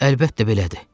Əlbəttə belədir.